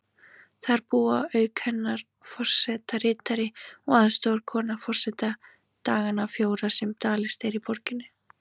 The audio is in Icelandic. Þar búa auk hennar forsetaritari og aðstoðarkona forseta dagana fjóra sem dvalist er í borginni.